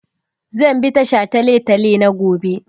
Zan bi ta shataletale ne gobe.